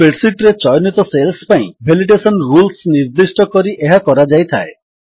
spread sheet ରେ ଚୟନିତ cells ପାଇଁ ଭେଲିଡେସନ୍ ରୁଲ୍ସ ନିର୍ଦ୍ଦିଷ୍ଟ କରି ଏହା କରାଯାଇଥାଏ